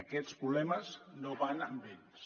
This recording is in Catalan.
aquests problemes no van amb ells